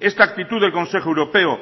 esta actitud del consejo europeo